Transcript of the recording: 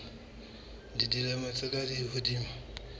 ba dilemo tse ka hodimo